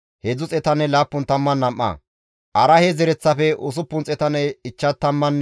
Iyaasoppenne Iyo7aabe zereth gidida Pahaate-Mo7aabe zereththati 2,818.